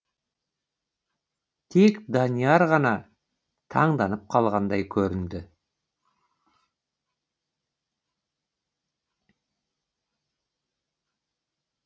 тек данияр ғана таңданып қалғандай көрінді